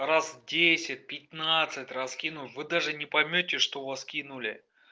раз десять пятнадцать раскинул вы даже не поймёте что у вас кинули